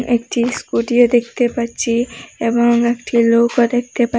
একটি স্কুটিও দেখতে পাচ্ছি এবং একটি লোকও দেখতে পা--